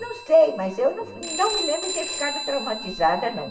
Não sei, mas eu não me lembro de ter ficado traumatizada, não.